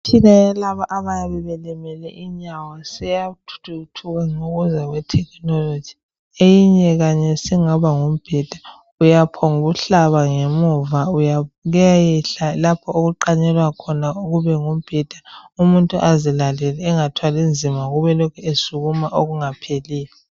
lmitshina yalabo abayabe belimele inyawo seyathuthuka ngokuza kwetekinoloji. Eyinye khanye singaba yimibheda. Uyaphongukuhlaba ngemuva kuyayehla lapho okuqanyelwa khona kube ngumbheda umuntu azilalele engathwali nzima ngokuba lokhe esukuma okungapheliyo.